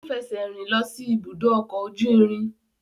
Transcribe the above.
Ó fẹsẹ̀rìn lọ sí ibùdó ọkọ̀ ojú irin.